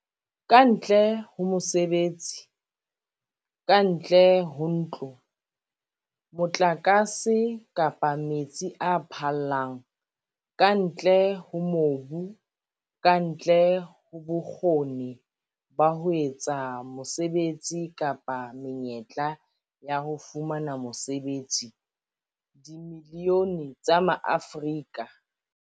Kantle ho mosebetsi, kantle ho ntlo, motlakase kapa metsi a phallang, kantle ho mobu, kantle ho bokgoni ba ho etsa mosebetsi kapa menyetla ya ho fumana mosebetsi, dimilione tsa Maafrika